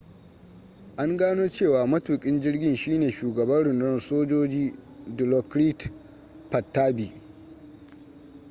an gano cewa matukin jirgin shine shugaban rundunar sojoji dilokrit pattavee